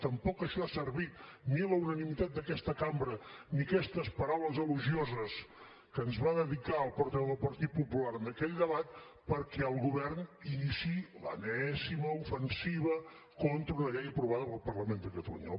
tampoc això ha servit ni la unanimitat d’aquesta cambra ni aquestes paraules elogioses que ens va dedicar el portaveu del partit popular en aquell debat perquè el govern iniciï l’enèsima ofensiva contra una llei aprovada pel parlament de catalunya